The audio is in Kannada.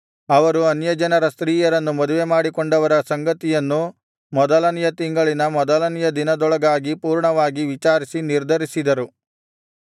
ಅವರು ಅನ್ಯಜನರ ಸ್ತ್ರೀಯರನ್ನು ಮದುವೆಮಾಡಿಕೊಂಡವರ ಸಂಗತಿಯನ್ನು ಮೊದಲನೆಯ ತಿಂಗಳಿನ ಮೊದಲನೆಯ ದಿನದೊಳಗಾಗಿ ಪೂರ್ಣವಾಗಿ ವಿಚಾರಿಸಿ ನಿರ್ಧರಿಸಿದರು